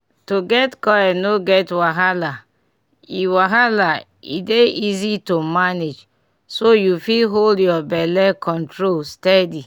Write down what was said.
to get coil no get wahala e wahala e dey easy to manage so yu fit hold ur belle control steady.